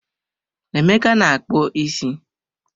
Emeka na-akpu isi.